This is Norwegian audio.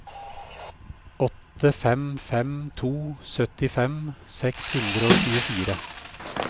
åtte fem fem to syttifem seks hundre og tjuefire